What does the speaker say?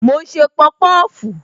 Mo ń ṣe pọpọfu